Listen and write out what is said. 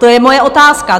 To je moje otázka.